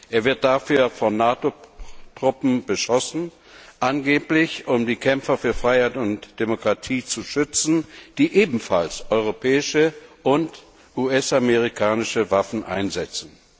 Er wird dafür von NATO Truppen beschossen, angeblich um die Kämpfer für Freiheit und Demokratie zu schützen, die ebenfalls europäische und US amerikanische Waffen einsetzen.